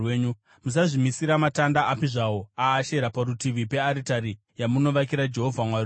Musazvimisira matanda api zvawo aAshera parutivi pearitari yamunovakira Jehovha Mwari wenyu.